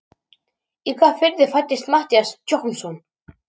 Í hvaða firði fæddist Matthías Jochumsson?